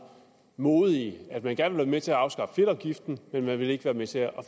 modige at man gerne ville være med til at afskaffe fedtafgiften men man ville ikke være med til at